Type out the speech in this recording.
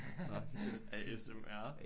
Nåh A S M R